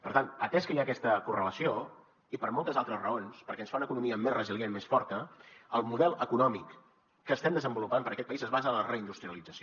per tant atès que hi ha aquesta correlació i per moltes altres raons perquè ens fa una economia més resilient més forta el model econòmic que estem desenvolupant per a aquest país es basa en la reindustrialització